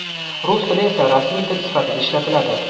rus tili esa rasmiy til sifatida ishlatiladi.